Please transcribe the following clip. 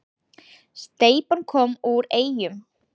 Steypan kom úr Eyjum